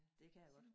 Dét kan jeg godt